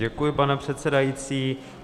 Děkuji, pane předsedající.